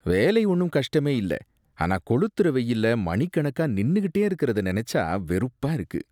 வேலை ஒன்னும் கஷ்டமே இல்ல. ஆனா கொளுத்துற வெயில்ல மணிக்கணக்கா நின்னுகிட்டே இருக்கிறத நெனச்சா வெறுப்பா இருக்கு.